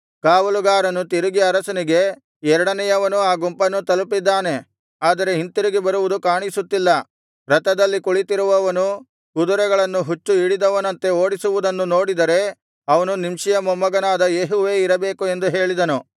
ಕಾವಲುಗಾರನು ತಿರುಗಿ ಅರಸನಿಗೆ ಎರಡನೆಯವನೂ ಆ ಗುಂಪನ್ನು ತಲುಪಿದ್ದಾನೆ ಆದರೆ ಹಿಂತಿರುಗಿ ಬರುವುದು ಕಾಣಿಸುತ್ತಿಲ್ಲ ರಥದಲ್ಲಿ ಕುಳಿತಿರುವವನು ಕುದುರೆಗಳನ್ನು ಹುಚ್ಚು ಹಿಡಿದವನಂತೆ ಓಡಿಸುವುದನ್ನು ನೋಡಿದರೆ ಅವನು ನಿಂಷಿಯ ಮೊಮ್ಮಗನಾದ ಯೇಹುವೇ ಇರಬೇಕು ಎಂದು ಹೇಳಿದನು